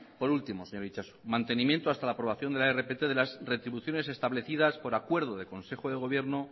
por último señor itxaso mantenimiento hasta la aprobación de la rpt de las retribuciones establecidas por acuerdo de consejo de gobierno